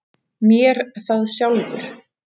MÉR ÞAÐ SJÁLFUR!